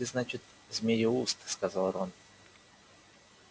так ты значит змееуст сказал рон